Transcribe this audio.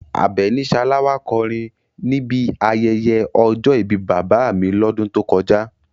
Abeni Salawa kọrin níbi ayẹyẹ ọjọ́ ìbí bàbá mi lọ́dún tó kọjá.